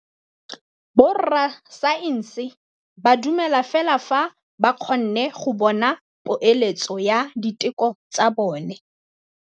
Borra saense ba dumela fela fa ba kgonne go bona poeletsô ya diteko tsa bone.